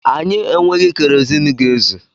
Anyị enweghị keroziin ga-ezù.